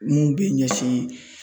Mun bɛ ɲɛsin.